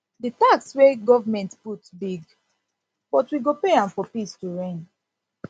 the tax wey government put big but we go pay am for peace to reign